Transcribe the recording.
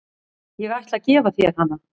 Ég ætla að gefa þér hana.